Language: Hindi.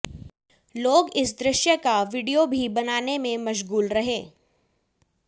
लोग इस दृश्य का वीडियो भी बनाने में मशगूल रहे